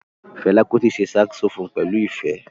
Fela Kuti ṣe saxophone pẹlu ifẹ.